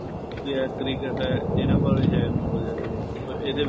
ਜੇ ਹੈ cricket ਹੈ ਇਹਨਾ ਬਾਰੇ ਹੈ knowledge ਹੈ ਹਜੇ ਇਹਦੇ ਵਿੱਚ